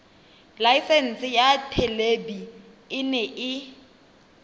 laesense ya thelebi ene e